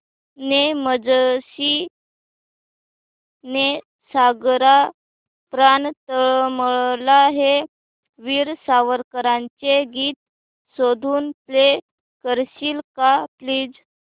ने मजसी ने सागरा प्राण तळमळला हे वीर सावरकरांचे गीत शोधून प्ले करशील का प्लीज